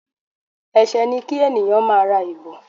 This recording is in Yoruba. Ẹsẹ ni kí ènìyàn máá ra ìbò